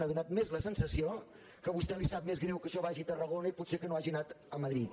ha fet més la sensació que a vostè li sap més greu que això vagi a tarragona i potser que no hagi anat a madrid